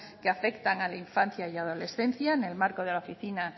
que afectan a la infancia y adolescencia en el marco de la oficina